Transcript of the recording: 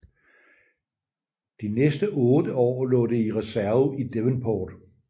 De næste otte år lå det i reserve i Devonport